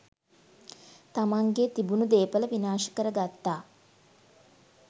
තමන්ගේ තිබුණු දේපල විනාශ කරගත්තා.